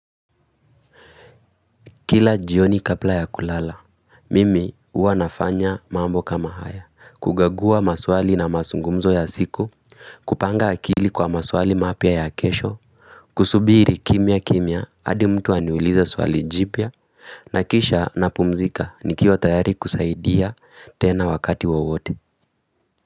Kila jioni kabla ya kulala, mimi huwa nafanya mambo kama haya, kukagua maswali na masungumzo ya siku, kupanga akili kwa maswali mapya ya kesho, kusubiri kimia kimia adi mtu aniuliza swali jipya, nakisha napumzika nikiwa tayari kusaidia tena wakati wawote.